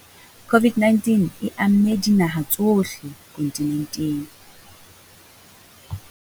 COVID-19 e amme dinaha tsohle kontinenteng.